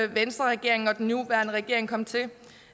venstreregeringen og den nuværende regering kom til